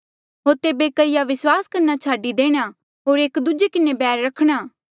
होर तेबे कईया विस्वास करना छाडी देणा होर एक दूजे किन्हें बैर रखणा